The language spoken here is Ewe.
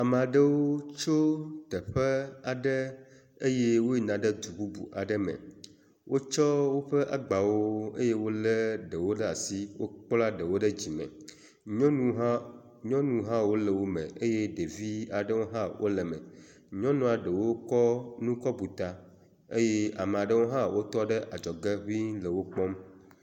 Amea ɖewo tso teƒe aɖe eye woyina ɖe du bubu aɖe me. Wotsɔ woƒe agbawo eye wolé ɖewo ɖe asi, wokpla ɖewo ɖe dzime. Nyɔnu hã wole wo me eye ɖevi aɖewo hã wole eme. Nyɔnua ɖewo kɔ nu kɔ bu ta eye amea ɖewo hã wotɔ ɖe adzɔge ŋɛ̃ le wo kpɔm.